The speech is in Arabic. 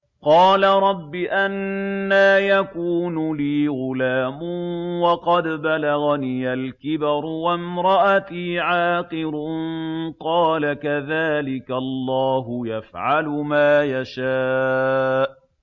قَالَ رَبِّ أَنَّىٰ يَكُونُ لِي غُلَامٌ وَقَدْ بَلَغَنِيَ الْكِبَرُ وَامْرَأَتِي عَاقِرٌ ۖ قَالَ كَذَٰلِكَ اللَّهُ يَفْعَلُ مَا يَشَاءُ